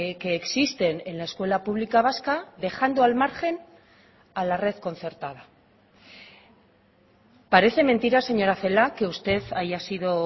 que existen en la escuela pública vasca dejando al margen a la red concertada parece mentira señora celaá que usted haya sido